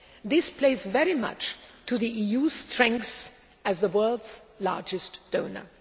This plays very much to the EU's strengths as the world's largest donor.